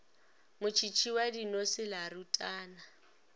motšhitšhi wa dinose la rutana